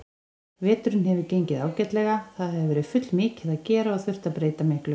Veturinn hefur gengið ágætlega, það hefur verið fullmikið að gera og þurft að breyta miklu.